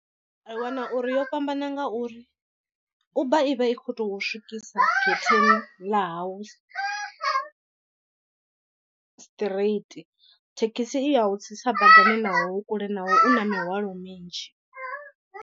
Ri wana uri yo fhambana ngauri uber i vha i khou tou swikisa getheni ḽa hau straight thekhisi i ya u tsitsa badani naho hu kule naho u na mihwalo minzhi.